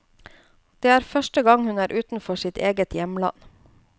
Det er første gang hun er utenfor sitt eget hjemland.